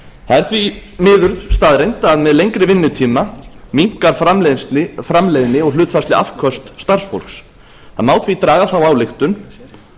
er því miður staðreynd að með lengri vinnutíma minnkar framleiðni og hlutfallsleg afköst starfsfólks það má því draga þá ályktun